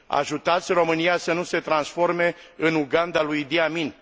Ajutați România să nu se transforme în Uganda lui Idi Amin.